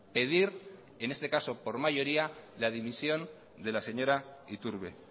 pedir en este caso por mayoría la dimisión de la señora iturbe